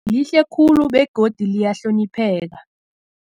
Lihle khulu begodu liyahlonipheka.